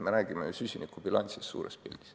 Me räägime ju süsinikubilansist suures pildis.